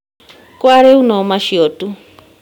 Kwa rĩu no macio tu